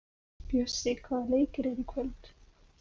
Bjössi, hvaða leikir eru í kvöld?